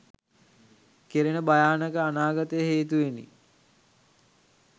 කෙරෙන භයානක අනාගතය හේතුවෙනි.